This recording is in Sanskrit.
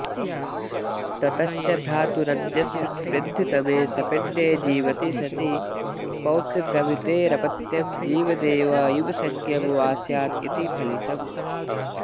ततश्च भ्रातुरन्यस्मिन्वृद्धतमे सपिण्डे जीवति सति पौत्रप्रभृतेरपत्यं जीवदेव युवसंज्ञं वा स्यादिति फलितम्